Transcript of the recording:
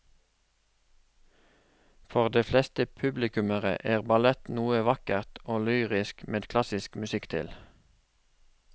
For de fleste publikummere er ballett noe vakkert og lyrisk med klassisk musikk til.